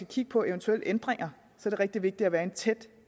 kigge på eventuelle ændringer er det rigtig vigtigt at være i tæt